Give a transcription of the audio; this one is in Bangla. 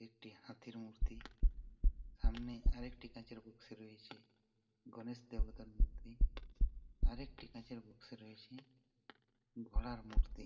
একটি হাতির মূর্তি সামনেই আরেকটি কাঁচের বাক্স এ রয়েছে গনেশ দেবতার মূর্তি আরেকটি কাঁচের বাক্স এ রয়েছে ঘোড়ার মূর্তি ।